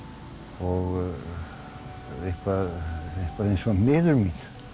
og eitthvað eins og miður mín